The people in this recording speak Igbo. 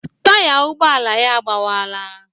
Taya ụgbọala ya agbawaala.